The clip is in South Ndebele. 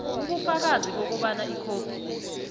ubufakazi bokobana ikhophi